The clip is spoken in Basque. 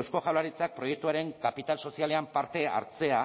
eusko jaurlaritzak proiektuaren kapital sozialean parte hartzea